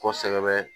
Kɔsɛbɛ